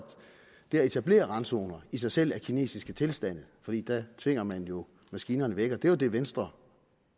det at etablere randzoner i sig selv er kinesiske tilstande for der tvinger man jo maskinerne væk det var jo det venstre